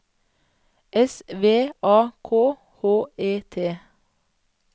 S V A K H E T